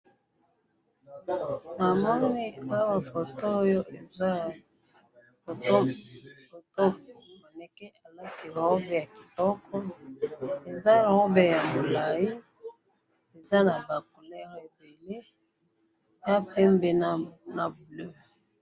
namoni awa foto oyo eza ya manequin alati robe kitoko eza robe ya mulali eza naba couleur y bleu